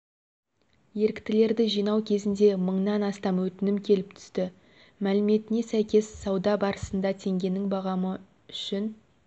еріктілерді жинау кезінде мыңнан астам өтінім келіп түсті мәліметіне сәйкес сауда барысында теңгенің бағамы үшін